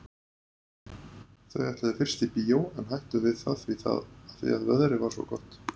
Þau ætluðu fyrst í bíó en hættu við það því að veðrið var svo gott.